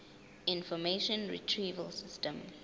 information retrieval system